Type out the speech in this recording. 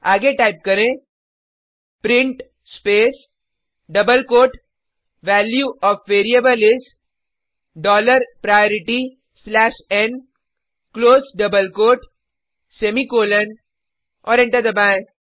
आगे टाइप करें print space double quote value O F variable is dollar priority slash N close double quote semicolon और enter दबाएँ